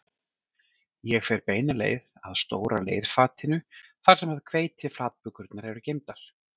Ég fer beina leið að stóra leirfatinu þar sem hveitiflatbökurnar eru geymdar